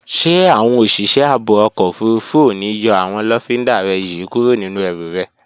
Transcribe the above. Ṣé àwọn òṣìṣẹ́ ààbò ọkọ̀ òfurufú ò ní yọ àwọn lọ́findà rẹ yí kúrò nínú ẹrù rẹ?